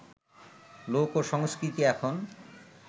লোক সংস্কৃতি এখন